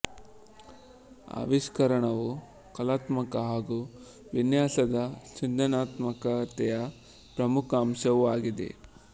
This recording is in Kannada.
ಆವಿಷ್ಕರಣವು ಕಲಾತ್ಮಕ ಹಾಗೂ ವಿನ್ಯಾಸದ ಸೃಜನಾತ್ಮಕತೆಯ ಪ್ರಮುಖ ಅಂಶವೂ ಆಗಿದೆ